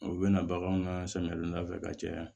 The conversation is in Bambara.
U bɛna baganw ka samiya fɛ ka caya